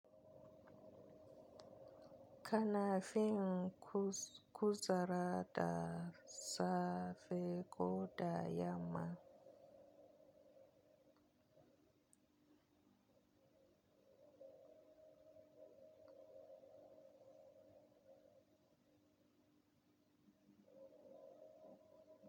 Kana fin kuzara da safe ko da yamma.